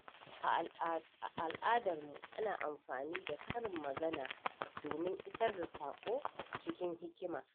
A al’adarmu, ana amfani da karin magana domin isar da sako cikin hikima.